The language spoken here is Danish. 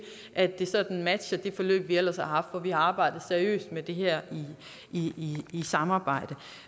at det sådan matcher det forløb vi ellers har haft hvor vi har arbejdet seriøst med det her i samarbejde